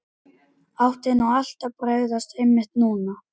Átti nú allt að bregðast, einmitt núna?